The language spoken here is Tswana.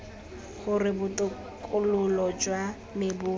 gore botokololo jwa me bo